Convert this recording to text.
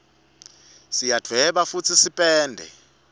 siyadweba futsi sipende